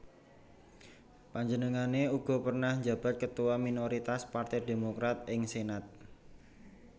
Panjenengané uga pernah njabat Ketua Minoritas Partai Demokrat ing Senat